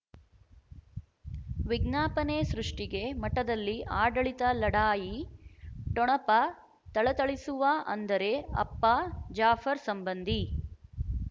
ವಿಜ್ಞಾಪನೆ ಸೃಷ್ಟಿಗೆ ಮಠದಲ್ಲಿ ಆಡಳಿತ ಲಢಾಯಿ ಠೊಣಪ ಥಳಥಳಿಸುವ ಅಂದರೆ ಅಪ್ಪ ಜಾಫರ್ ಸಂಬಂಧಿ